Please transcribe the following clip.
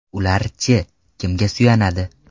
Ular-chi, kimga suyanadi?